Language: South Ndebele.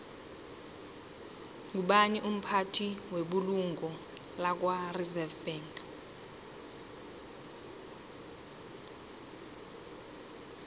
ngubani umphathi webulungo lakwareserve bank